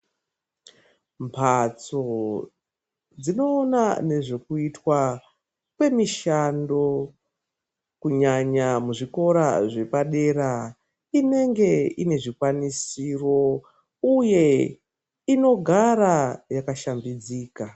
Mbatso dzinoona nezvekuitwa kwemishando kunyanya zvikora zvepadera inenge ine zvikwanisiro uye inogara yakashambidzika